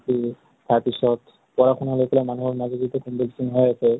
তাৰপিছত, পঢ়া শুনা লৈ পেলাই মানুহৰ মাজত এতিয়া হৈ আছে ।